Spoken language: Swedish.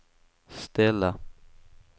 ställa